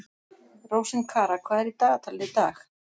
Rósinkara, hvað er í dagatalinu í dag?